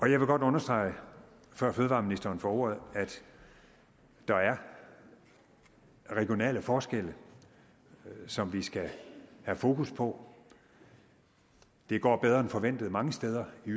jeg vil godt understrege før fødevareministeren får ordet at der er regionale forskelle som vi skal have fokus på det går bedre end forventet mange steder i